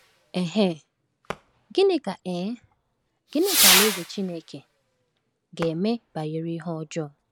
um Gịnị ka um Gịnị ka Alaeze Chineke ga-eme banyere ihe ọjọọ?